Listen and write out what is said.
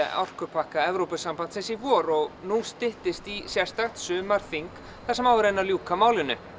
orkupakka Evrópusambandsins í vor og nú styttist í sérstakt sumarþing þar sem á að reyna að ljúka málinu